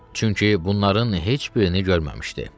Çünki bunların heç birini görməmişdi.